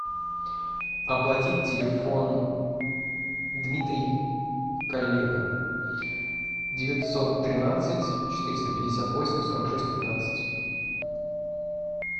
оплатить телефон дмитрий коллега девятьсот тринадцать четыреста пятьдесят восемь сорок шесть пятнадцать